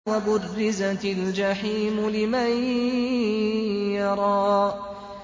وَبُرِّزَتِ الْجَحِيمُ لِمَن يَرَىٰ